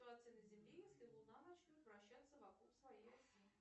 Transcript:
ситуация на земле если луна начнет вращаться вокруг своей оси